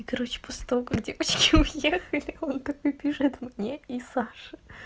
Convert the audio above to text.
и короче после того как девочки уехали он такой пишет мне и саше